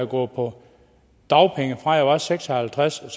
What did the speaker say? gå på dagpenge fra jeg var seks og halvtreds år